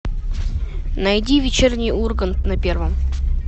найди вечерний ургант на первом